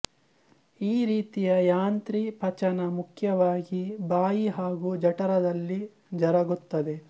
ಈ ರೀತಿಯ ಯಾಂತ್ರಿ ಪಚನ ಮುಖ್ಯವಾಗಿ ಬಾಯಿ ಹಾಗೂ ಜಠರದಲ್ಲಿ ಜರುಗುತ್ತದೆ